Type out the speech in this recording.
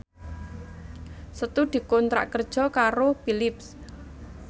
Setu dikontrak kerja karo Philips